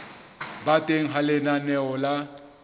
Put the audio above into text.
ba teng ha lenaneo la